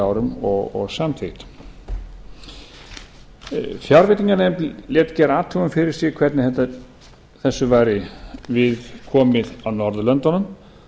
árum og samþykkt fjárveitinganefnd lét gera athugun fyrir sig hvernig þessu væri við komið á norðurlöndunum